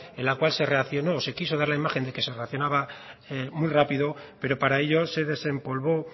en la cual se reaccionó se quiso dar la imagen de que se reaccionaba muy rápido pero para ellos se desempolvó